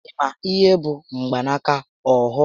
Ị ma ihé bụ mgbanaka ohu?